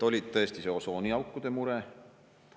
Oli tõesti see osooniaukude mure.